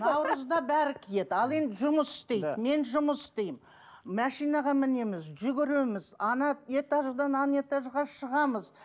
наурызда бәрі киеді ал енді жұмыс істейді мен жұмыс істеймін машинаға мінеміз жүгіреміз этаждан этажға шығамыз